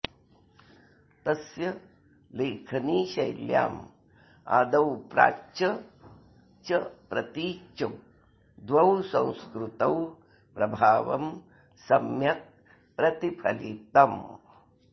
तस्य लेखनीशैल्याम् आदौ प्राच्य च प्रतीच्यौ द्वौ संस्कृतौ प्रभावं सम्यक् प्रतिफलितम्